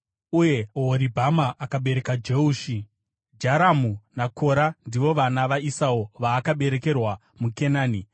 uye Ohoribhama akabereka Jeushi, Jaramu naKora. Ndivo vana vaEsau vaakaberekerwa muKenani.